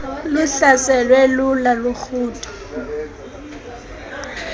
luhlaselwe lula lurhudo